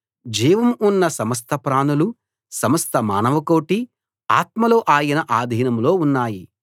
జీవం ఉన్న సమస్త ప్రాణులు సమస్త మానవకోటి ఆత్మలు ఆయన ఆధీనంలో ఉన్నాయి